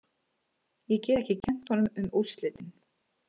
Ég get ekki kennt honum um úrslitin.